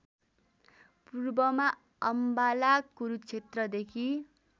पूर्वमा अम्बाला कुरुक्षेत्रदेखि